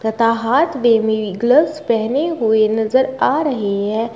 तथा हाथ में ग्लव्स पहने हुए नजर आ रहे हैं।